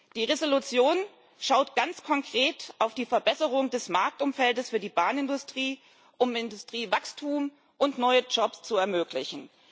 Die Entschließung schaut ganz konkret auf die Verbesserung des Marktumfelds für die Bahnindustrie, um Industriewachstum und neue Jobs zu ermöglichen.